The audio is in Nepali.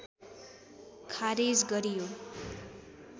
खारेज गरियो